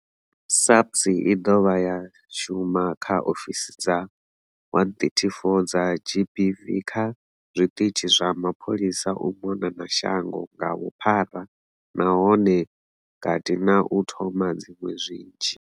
SAPS i dovha ya shuma kha ofisi dza 134 dza GBV kha zwiṱitshi zwa mapholisa u mona na shango nga vhuphara nahone vha kati na u thoma dziṅwe nnzhi.